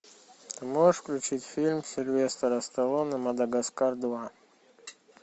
можешь включить фильм сильвестра сталлоне мадагаскар два